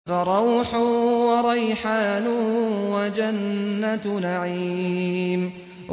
فَرَوْحٌ وَرَيْحَانٌ وَجَنَّتُ نَعِيمٍ